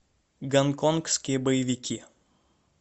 гонконгские боевики